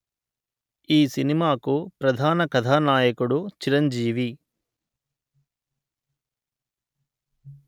ఈ సినిమాకు ప్రధాన కథానాయకుడు చిరంజీవి